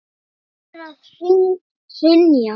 Hvað er að hrynja?